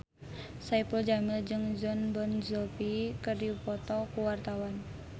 Saipul Jamil jeung Jon Bon Jovi keur dipoto ku wartawan